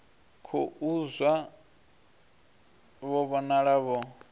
khou zwa vho vhonala vho